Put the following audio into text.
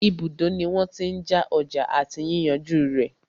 Ibùdó ní wọ́n tí n já ọjà àti yíyànjú rẹ̀.